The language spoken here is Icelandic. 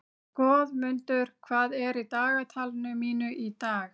Goðmundur, hvað er í dagatalinu mínu í dag?